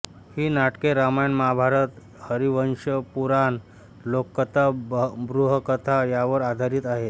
ही नाटके रामायण महाभारत हरिवंशपुराण लोककथा बृहत्कथा यांवर आधारित आहेत